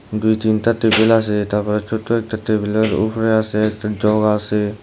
দুই তিনটা টেবিল আছে এইটা আবার ছোট্ট একটা টেবিলের উপরে আসে একটা জগ আসে।